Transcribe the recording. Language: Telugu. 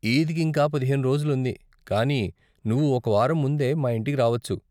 ఈద్కి ఇంకా పదిహేను రోజులు ఉంది, కానీ నువ్వు ఒక వారం ముందే మా ఇంటికి రావచ్చు.